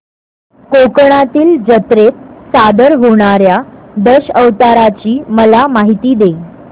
कोकणातील जत्रेत सादर होणार्या दशावताराची मला माहिती दे